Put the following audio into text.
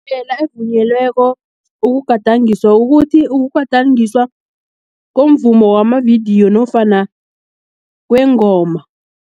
Indlela evunyelweko, ukugadangiswa ukuthi, ukugadangiswa komvumo wamavidiyo nofana kwengoma.